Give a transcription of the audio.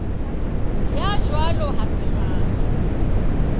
ya jwalo ha se mang